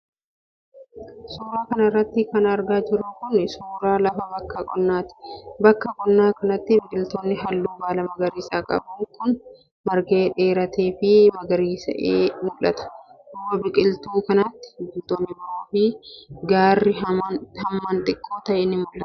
Suura kana irratti kan argaa jirru kun ,suura lafa bakka qonnaati. Bakka qonnaa kanatti biqiltuun haalluu baalaa magariisa qabu kun, margee, dheeratee fi magariisa'ee mul'ata. Duuba biqiltuu kanaatti ,biqiloonni biroo fi gaarri hammaan xiqqoo ta'e ni mul'ata.